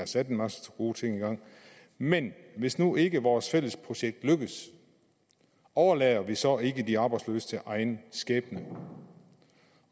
sat en masse gode ting i gang men hvis nu ikke vores fælles projekt lykkes overlader vi så ikke de arbejdsløse til egen skæbne